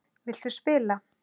Viltu spila?